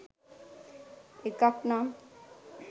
එකක් නම්